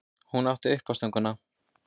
Hún átti uppástunguna.